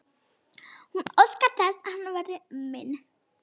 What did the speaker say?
Hún óskar þess að hann verði minn.